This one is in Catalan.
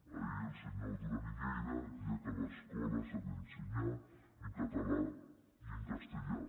ahir el senyor duran i lleida deia que a l’escola s’ha d’ensenyar en català i en castellà